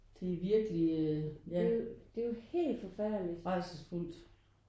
Det er virkelig øh ja rædselsfuldt